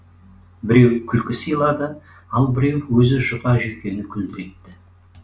біреу күлкі сыйлады ал біреуі өзі жұқа жүйкені күлдіретті